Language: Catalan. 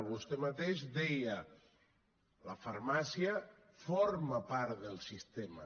vostè mateix deia la farmàcia forma part del sistema